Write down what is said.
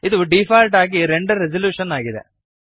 ಇದು ಡೀಫಾಲ್ಟ್ ಆಗಿ render resolution ಆಗಿದೆ